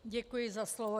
Děkuji za slovo.